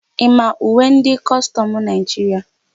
Ị ma uwe ndị kọstọmụ Naịjiria?